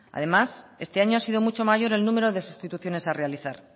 además este año ha sido mucho mayor el número de sustituciones a realizar